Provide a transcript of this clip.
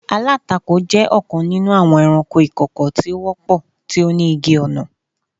Alatako jẹ ọkan ninu awọn ẹranko ikoko ti o wọpọ, ti o ni igi-ọna.